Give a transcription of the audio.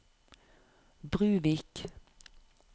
Bruvik